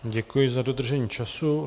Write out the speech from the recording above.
Děkuji za dodržení času.